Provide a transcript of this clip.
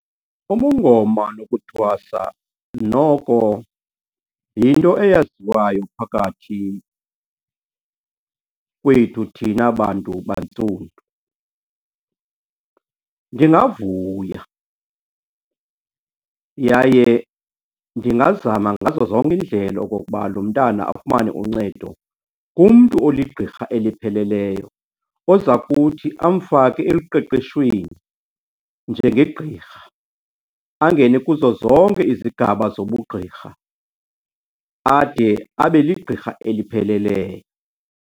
Ubungoma nokuthwasa noko yinto eyaziwayo phakathi kwethu thina bantu bantsundu. Ndingavuya yaye ndingazama ngazo zonke iindlela okokuba lo mntana afumane uncedo kumntu oligqirha elipheleleyo oza kuthi afake eluqeqeshweni njengegqirha. Angene kuzo zonke izigaba zobugqirha ade abe ligqirha elipheleleyo.